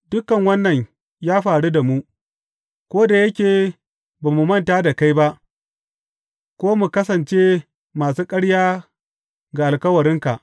Dukan wannan ya faru da mu, ko da yake ba mu manta da kai ba ko mu kasance masu ƙarya ga alkawarinka.